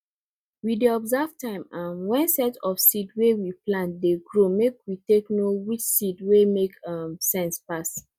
we dey observe time um when set of seed wey we plant dey grow make we take know which seed wey make um sense pass